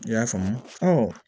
I y'a faamu